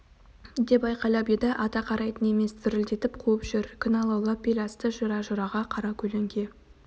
деп айқайлап еді ата қарайтын емес дүрілдетіп қуып жүр күн алаулап бел асты жыра-жыраға қара көлеңке